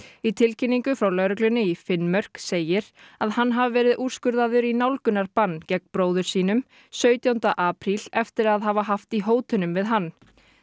í tilkynningu frá lögreglunni í Finnmörk segir að hann hafi verið úrskurðaður í nálgunarbann gegn bróður sínum sautjánda apríl eftir að hafa haft í hótunum við hann